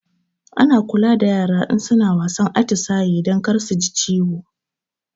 Ana kula da yara in suna wasan atisaye don kar suji ciwo